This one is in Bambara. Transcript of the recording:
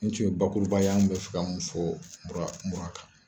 Nin tun ye bakuru ba ye an be fɛ ka mun fɔ mura kan.